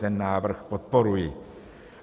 Ten návrh podporuji.